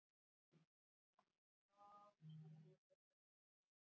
Því er ekki óeðlilegt að sjá lóur á Íslandi fram í nóvember.